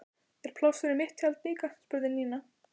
Er pláss fyrir mitt tjald líka? spurði Nína.